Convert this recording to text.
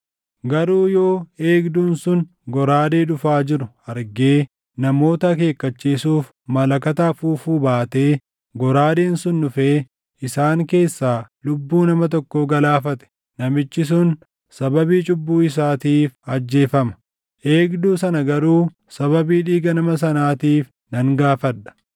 Garuu yoo eegduun sun goraadee dhufaa jiru argee namoota akeekkachiisuuf malakata afuufuu baatee goraadeen sun dhufee isaan keessaa lubbuu nama tokkoo galaafate, namichi sun sababii cubbuu isaatiif ajjeefama; eegduu sana garuu sababii dhiiga nama sanaatiif nan gaafadha.’